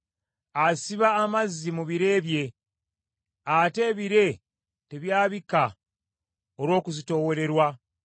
Asiba amazzi mu bire bye; ate ebire tebyabika olw’okuzitoowererwa.